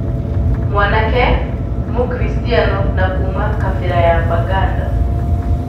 Mwanake, mũkristiano na kuma kabĩra ya Baganda.